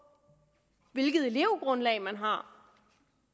hvilket elevgrundlag man har